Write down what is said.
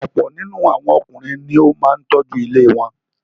Ọ̀pọ̀ nínú àwọn Ọkùnrin ni ó máa ń tọ́jú ilé wọn.